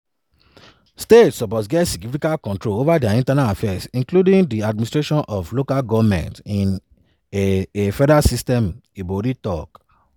states suppose get significant control over dia internal affairs including di administration of local goments in a a federal system" ibori tok.